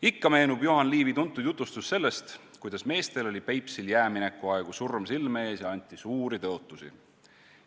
Ikka meenub Juhan Liivi tuntud jutustus sellest, kuidas meestel oli Peipsil jäämineku aegu surm silme ees ja anti suuri tõotusi.